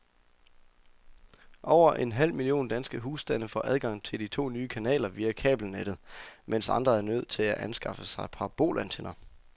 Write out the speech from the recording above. Over en halv million danske husstande får adgang til de to nye kanaler via kabelnettet, mens andre er nødt til at anskaffe sig parabolantenner.